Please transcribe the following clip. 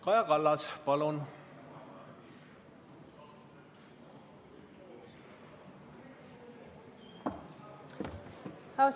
Kaja Kallas, palun!